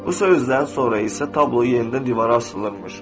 Bu sözlərdən sonra isə tablo yenidən divara asılmışdı.